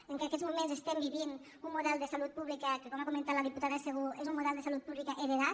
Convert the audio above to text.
que en aquests moments estem vivint un model de salut pública que com ha comentat la diputada segú és un model de salut pública heretat